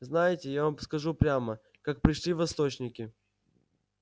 знаете я вам скажу прямо как пришли восточники